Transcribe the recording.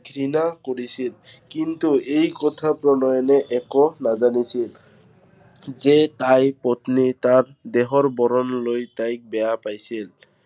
ঘৃণা কৰিছিল। কিন্তু এই কথা প্ৰণয়নে একো নাজানিছিল। যে তাইৰ পত্নীয়ে তাক দেহৰ বৰণ লৈ তাক বেয়া পাইছিল।